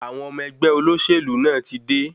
Àwọn ọmọ ẹgbẹ́ olóṣèlú náà ti dé.